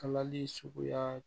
Kalali suguya